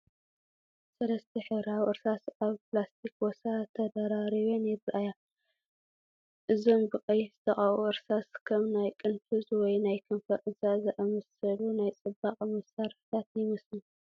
ሰለስተ ሕብራዊ እርሳስ ኣብ ፕላስቲክ ቦርሳ ተደራሪበን ይረኣያ። እዞም ብቐይሕ ዝተቐብኡ እርሳሳት፡ ከም ናይ ቅንፍዝ ወይ ናይ ከንፈር እርሳስ ዝኣመሰሉ ናይ ጽባቐ መሳርሒታት ይመስሉ።